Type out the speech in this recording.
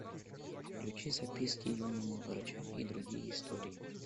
включи записки юного врача и другие истории